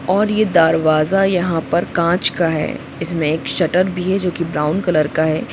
और यह दरवाजा यहाँ पर काँच का है इसमे एक शटर भी है जो कि ब्राउन कलर का है।